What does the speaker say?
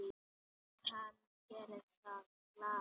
Og hann gerir það glaður.